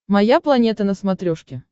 моя планета на смотрешке